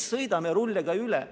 Ei, me sõidame rulliga üle.